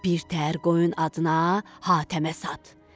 Birtəhər qoyun adına Hatəmə sat.